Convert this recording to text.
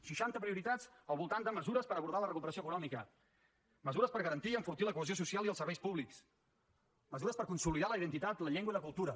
seixanta prioritats al voltant de mesures per abordar la recuperació econòmica mesures per garantir i enfortir la cohesió social i els serveis públics mesures per consolidar la identitat la llengua i la cultura